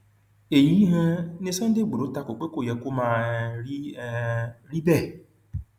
kí nìdí tí òtútù fi ń mu um mi ni iwon um imooru seventy two um degrees?